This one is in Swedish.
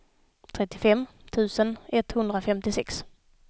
trettiofem tusen etthundrafemtiosex